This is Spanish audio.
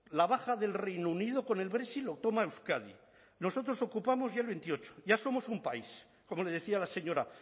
la baja del reino unido con el brexit lo toma euskadi nosotros ocupamos ya el veintiocho ya somos un país como le decía la señora